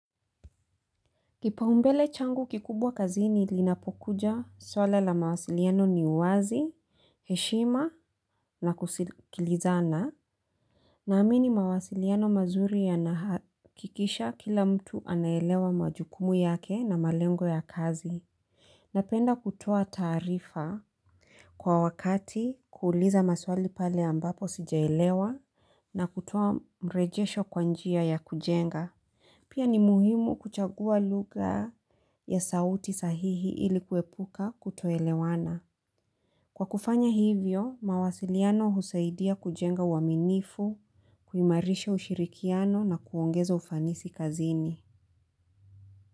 Kipaumbele changu kikubwa kazini linapokuja swala la mawasiliano ni uwazi, heshima na kusikilizana. Naamini mawasiliano mazuri yanahakikisha kila mtu anaelewa majukumu yake na malengo ya kazi. Napenda kutoa taarifa kwa wakati kuuliza maswali pale ambapo sijaelewa na kutoa mrejesho kwa njia ya kujenga. Pia ni muhimu kuchagua lugha ya sauti sahihi ili kuepuka kutoelewana. Kwa kufanya hivyo, mawasiliano husaidia kujenga uaminifu, kuimarisha ushirikiano na kuongeza ufanisi kazini.